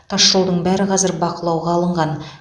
тасжолдың бәрі қазір бақылауға алынған